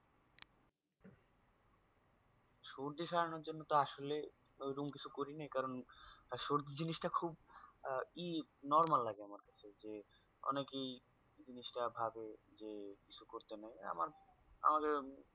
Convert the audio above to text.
সর্দি সারানোর জন্য তো আসলে ওইরম কিছু করিনি কারন সর্দি জিনিস টা খুব আহ ই normal লাগে আমার কাছে। যে অনেকেই জিনিসটা ভাবে যে কিছু করতে নেই আমার, আমাদের